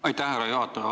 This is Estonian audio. Aitäh, härra juhataja!